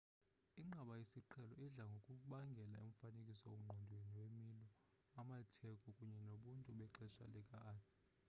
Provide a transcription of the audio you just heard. inqaba yesiqhelo idla ngokubangela umfanekiso ngqondweni wemilo amatheko kunye nobuntu bexesha lika-arthur